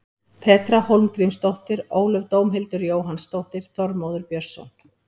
Petra Hólmgrímsdóttir Ólöf Dómhildur Jóhannsdóttir Þormóður Björnsson